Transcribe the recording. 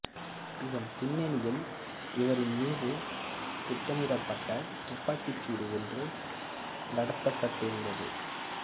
இதன் பின்னணியில் இவரி மீது திட்டமிடப்பட்ட துப்பாக்கி சூடு ஒன்றும் நடத்தப்பட்டிருந்தது